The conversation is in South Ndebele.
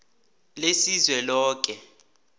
lesizweloke